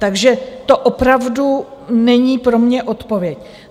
Takže to opravdu není pro mě odpověď.